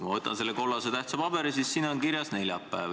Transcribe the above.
Ma võtan selle kollase tähtsa paberi, siin on kirjas neljapäev.